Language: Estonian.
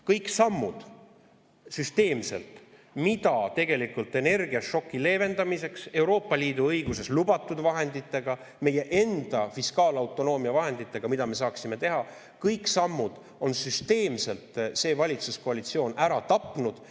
Kõik sammud, mida me tegelikult saaksime energiašoki leevendamiseks teha Euroopa Liidu õiguses lubatud vahenditega, meie enda fiskaalautonoomia vahenditega – on süsteemselt see valitsuskoalitsioon ära tapnud.